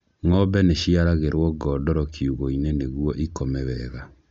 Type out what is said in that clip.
Ng'ombe nĩ ciaragĩrwo ngondoro kiũgũ-inĩ nĩguo ikome wega.